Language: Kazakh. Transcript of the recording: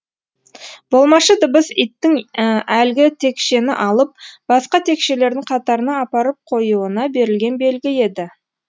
болмашы дыбыс иттің әлгі текшені алып басқа текшелердің қатарына апарып қоюына берілген белгі еді